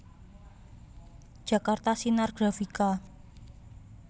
Jakarta Sinar Grafika